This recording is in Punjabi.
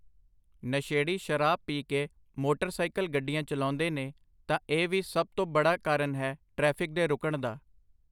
ਨਸ਼ੇੜੀ ਸ਼ਰਾਬ ਪੀ ਕੇ ਮੋਟਰਸਾਈਕਲ ਗੱਡੀਆਂ ਚੱਲਾਉਂਦੇ ਨੇ ਤਾਂ ਇਹ ਵੀ ਸਭ ਤੋਂ ਬੜਾ ਕਾਰਨ ਹੈ ਟ੍ਰੈਫਿਕ ਦੇ ਰੁਕਣ ਦਾ